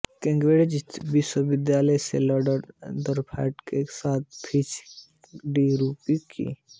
Cambridge विश्वविद्यालय से lord Rutherford के साथ पीएच डी पूरी की